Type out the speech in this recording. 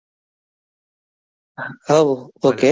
હવ okay